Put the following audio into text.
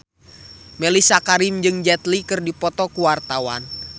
Mellisa Karim jeung Jet Li keur dipoto ku wartawan